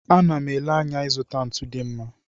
Ana m ele anya ịzụta ntu dị mma.